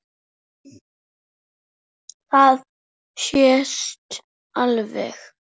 Það sést alveg.